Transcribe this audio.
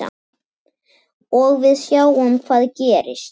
Og við sjáum hvað gerist.